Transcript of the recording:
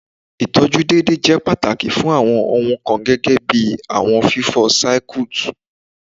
Itọju deede jẹ pataki fun awọn ohun kan gẹgẹbi awọn fifọ Circuit